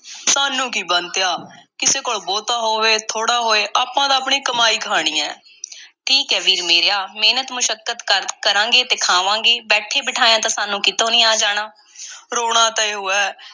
ਸਾਨੂੰ ਕੀ, ਬੰਤਿਆ, ਕਿਸੇ ਕੋਲ ਬਹੁਤਾ ਹੋਵੇ, ਥੋੜ੍ਹਾ ਹੋਏ— ਆਪਾਂ ਤਾਂ ਆਪਣੀ ਕਮਾਈ ਖਾਣੀ ਐ। ਠੀਕ ਐ ਵੀਰ ਮੇਰਿਆ, ਮਿਹਨਤ-ਮੁਸ਼ੱਕਤ ਕਰ ਕਰਾਂਗੇ ਤੇ ਖਾਵਾਂਗੇ, ਬੈਠੇ-ਬਿਠਾਇਆਂ ਤਾਂ ਸਾਨੂੰ ਕਿਤੋਂ ਨਹੀਂ ਆ ਜਾਣਾ। ਰੋਣਾ ਤਾਂ ਇਹੋ ਹੈ,